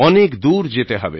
অনেক দূর যেতে হবে